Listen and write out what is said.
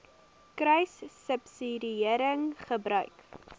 kruissubsidiëringgebruik